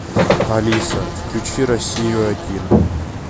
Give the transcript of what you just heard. алиса включи россию один